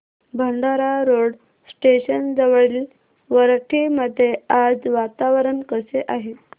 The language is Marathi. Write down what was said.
भंडारा रोड स्टेशन जवळील वरठी मध्ये आज वातावरण कसे आहे